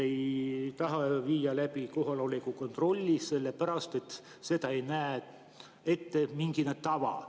Te ütlesite, et te ei taha viia läbi kohaloleku kontrolli sellepärast, et seda ei näe ette mingi tava.